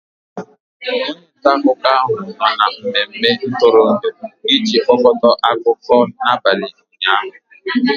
onye nta akụkọ ahụ nọ na mmemme ntụrụndụ iji kpokọta akụkọ n'abalị ụnyaahụ